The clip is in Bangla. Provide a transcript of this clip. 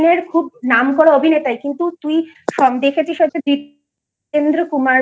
খুব নামকরা অভিনেতা কিন্তু তুই দেখেছিস হয়তো Divyendu Kumar bole